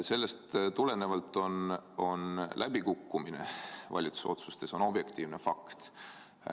Sellest tulenevalt on valitsuse otsuste läbikukkumine objektiivne fakt.